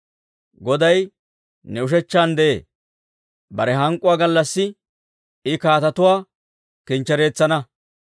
Goday ne ushechchan de'ee; bare hank'k'uwaa gallassi I kaatetuwaa kinchchereetsana.